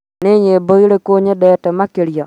nĩ nyĩmbo irĩkũ nyendete makĩria?